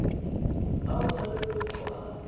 a o tshwanetseng go a